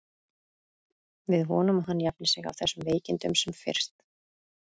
Við vonum að hann jafni sig af þessum veikindum sem fyrst.